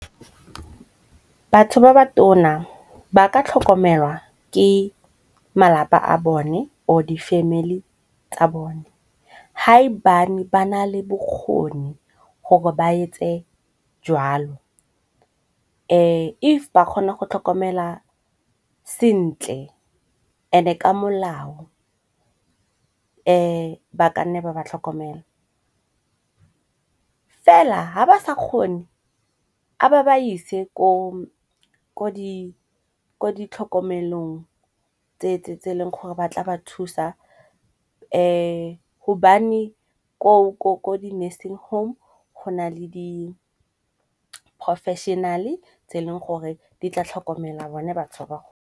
Batho ba ba tona ba ka tlhokomelwa ke malapa a bone or di family tsa bone. Ha e bane ba nale bokgoni gore ba etse jwalo, if ba kgona go tlhokomela sentle and-e ka molao ba ka nne ba ba tlhokomela. Fela ha ba sa kgone a ba ba ise ko di tlhokomelong tse e leng gore ba tla ba thusa hobane ko di nursing home go na le di-professional-e tse e leng gore di tla tlhokomela bone batho ba.